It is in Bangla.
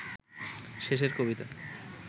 শেষের কবিতা